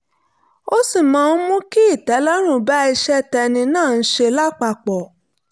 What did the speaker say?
ó sì máa ń mú kí ìtẹ́lọ́run bá iṣẹ́ tẹ́ni náà ń ṣe lápapọ̀